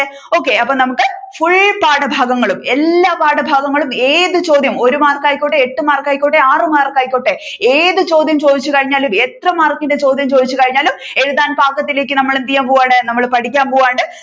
okay അപ്പോ നമ്മുക്ക് പാഠഭാഗങ്ങളൂം എല്ലാ പാഠഭാഗങ്ങളും ഏതു ചോദ്യം ഒരു മാർക്കായിക്കോട്ടെ എട്ടു മാർക്കായിക്കോട്ടെ ആറു മാർക്കായിക്കോട്ടെ ഏതു ചോദ്യം ചോദിച്ചു കഴിഞ്ഞാലും എത്ര മാർക്കിന്റെ ചോദ്യം ചോദിച്ചു കഴിഞ്ഞാലും എഴുതാൻ പാകത്തിലേക്ക് നമ്മൾ എന്ത് ചെയ്യുവാൻ പോകയാണ് നമ്മൾ പഠിക്കാൻ പോവുകയാണ്